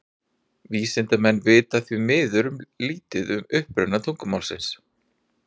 Vísindamenn vita því miður lítið um uppruna tungumálsins.